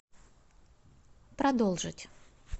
продолжить